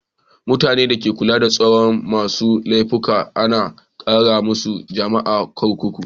Mutani da ke kulawa da tsaron masun laifuka ana kiran su jami'in kurkuku.